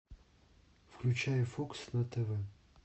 включай фокс на тв